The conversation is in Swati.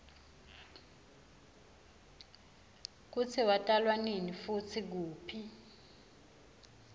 kutsi watalwanini futsi kuphi